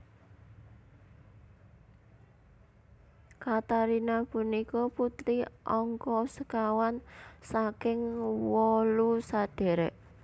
Katarina punika putri angka sekawan saking wolu sadhèrèk